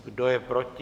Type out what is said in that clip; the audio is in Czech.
Kdo je proti?